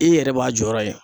I yɛrɛ b'a jɔyɔrɔ ye.